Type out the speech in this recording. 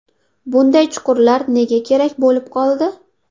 Bunday chuqurlar nega kerak bo‘lib qoldi?